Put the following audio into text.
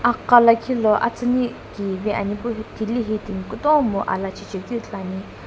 gha liikhi lo atsiini kivi anai epu thile tim kutom alajae jae keu ithulu ane.